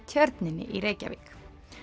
Tjörninni í Reykjavík